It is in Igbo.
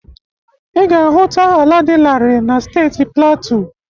Ị ga-ahụta ala dị larịị na steeti platu.